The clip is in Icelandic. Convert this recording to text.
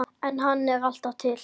En hann er alltaf til.